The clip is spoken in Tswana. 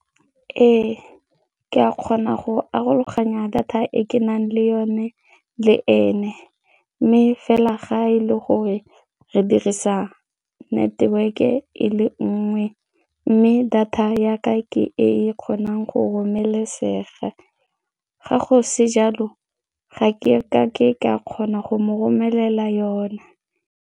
Ee, ke a kgona go arologanya data e ke nang le yone le ene mme fela ga e le gore re dirisa network-e e le nngwe mme data ya ka ke e kgonang go romelesega, ga go se jalo ga ke kake ka kgona go mo romelela yona.